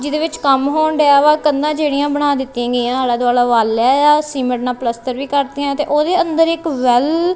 ਜਿਹਦੇ ਵਿੱਚ ਕੰਮ ਹੋਂਡਿਆ ਵਾਹ ਕੰਧਾ ਕਿਹੜੀਆਂ ਬਣਾ ਦਿੱਤੀਆਂ ਗਈਆਂ ਆਲੇ ਦੁਆਲੇ ਵਾਲ਼ ਹੈ ਸੀਮੇਂਟ ਨਾਲ ਪਲੱਸਤਰ ਵੀ ਕਰਤੀਆਂ ਤੇ ਉਹਦੇ ਅੰਦਰ ਇੱਕ ਵੈਲ --